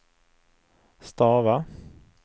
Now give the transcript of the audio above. stava